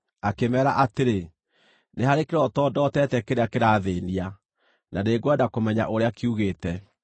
akĩmeera atĩrĩ, “Nĩ harĩ kĩroto ndootete kĩrĩa kĩrathĩĩnia, na nĩngwenda kũmenya ũrĩa kiugĩte.”